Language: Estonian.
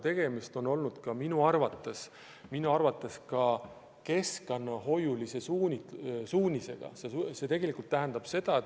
Üldiselt on tegemist minu arvates ka keskkonnahoiu suunaga.